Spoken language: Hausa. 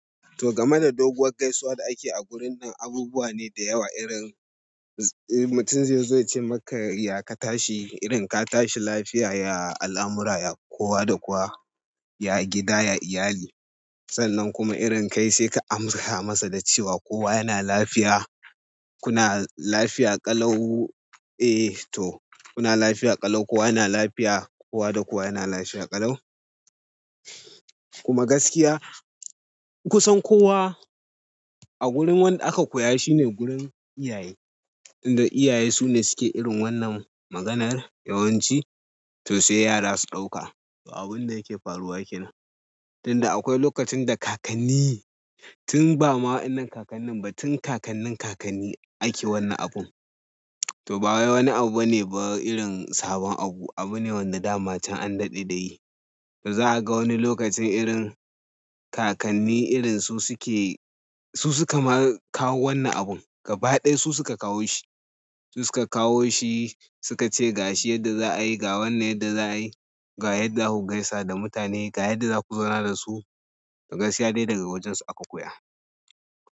To game da doguwar gaisuwa da ake yi a gurin nan, abubuwa ne da yawa irin mutum zai ce maka ya ka tashi, irin ka tashi lafiya, ya al amura, ya kowa da kowa, ya gida, ya iyali. Sannan kuma irin kai sai ka amsa masa da cewa kowa yana lafiya. Kuna lafiya ƙalau. Eh to, kuna lafiya ƙalau, kowa yana lafiya, kowa da kowa yana lafiya ƙalau. Kuma gaskiya kusan kowa a gurin wanda aka koya shi ne gurin iyaye. Tunda iyaye sune suke irin wannan maganar yawanci to sai yara su ɗauka abun da yake faruwa kenan tinda akwai lokacin da kakanni tun ba ma waɗannan kakannin ba tun kakannin kakanni ake wannan abun. To ba wai wani abu bane ba irin sabon abu. Abu ne wanda dama can an daɗe da yi. To za a ga wani lokacin irin kakanni irin su suke su suka ma kawo wannan abun. Gaba ɗaya su suka kawo shi. Su suka kawo shi, suka ce ga shi yadda za a yi, ga wannan yadda za a yi, ga yadda za ku gaisa da mutane, ga yadda za ku zauna da su. To gaskiya dai daga wajen su aka koya.